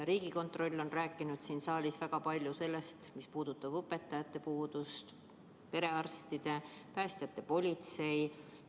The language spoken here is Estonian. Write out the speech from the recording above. Riigikontroll on rääkinud siin saalis väga palju sellest, mis puudutab õpetajate puudust, perearste, päästjaid, politseid.